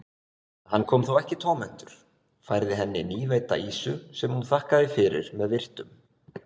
Hann kom þó ekki tómhentur, færði henni nýveidda ýsu sem hún þakkaði fyrir með virktum.